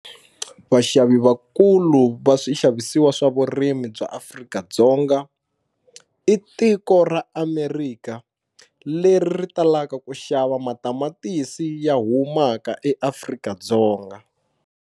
Vaxavi vakulu va swixavisiwa swa vurimi bya Afrika-Dzonga i tiko ra America leri ri talaka ku xava matamatisi ya humaka eAfrika-Dzonga.